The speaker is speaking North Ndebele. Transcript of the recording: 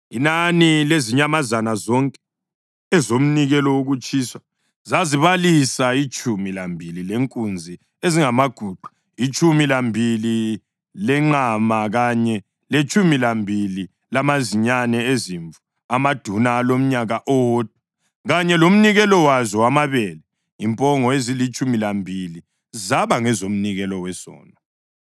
Inani lezinyamazana zonke ezomnikelo wokutshiswa zazibalisa itshumi lambili lenkunzi ezingamaguqa, itshumi lambili lenqama kanye letshumi lambili lamazinyane ezimvu amaduna alomnyaka owodwa, kanye lomnikelo wazo wamabele. Impongo ezilitshumi lambili zaba ngezomnikelo wesono.